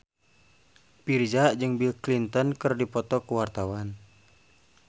Virzha jeung Bill Clinton keur dipoto ku wartawan